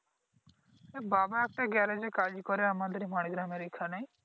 বাবা একটা গ্যারাজে কাজ করে আমাদের মানিগ্রামের এইখানে